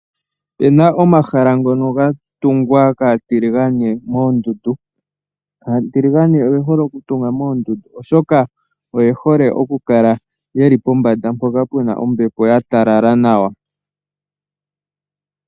Opuna omahala ngono ga tungwa kaatiligane moondundu. Aatiligane oye hole okutunga moondundu oshoka oye hole okukala ye li pombanda mpoka pu na ombepo ya talala nawa.